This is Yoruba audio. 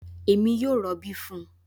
Èmi yóò robi fún un